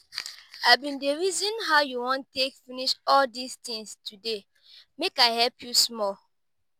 i bin dey reason how you wan take finish all dis things today make i help you small